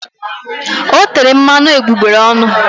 O tere mmanụ egbugbere ọnụ.